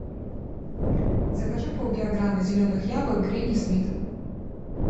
закажи пол килограмма зеленых яблок гренни смит